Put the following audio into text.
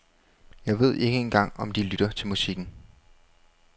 Jeg ved ikke engang om de lytter til musikken.